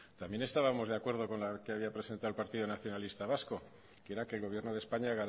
también estábamos de acuerdo con la que había presentado el partido nacionalista vasco que era que el gobierno de españa